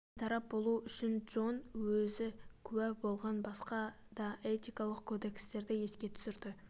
бейтарап болу үшін джон өзі куә болған басқа да этикалық кодекстерді еске түсірді